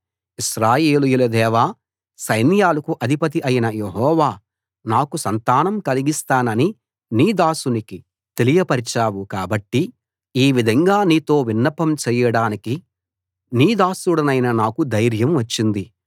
ఇశ్రాయేలీయుల దేవా సైన్యాలకు అధిపతి అయిన యెహోవా నాకు సంతానం కలిగిస్తానని నీ దాసునికి తెలియపరచావు కాబట్టి ఈ విధంగా నీతో విన్నపం చేయడానికి నీ దాసుడనైన నాకు ధైర్యం వచ్చింది